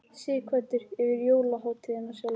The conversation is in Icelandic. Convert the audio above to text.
Sighvatur: Yfir jólahátíðina sjálfa?